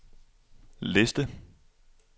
liste